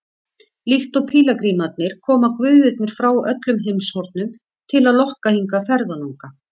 Líkt og pílagrímarnir koma guðirnir frá öllum heimshornum til að lokka hingað ferðalanga.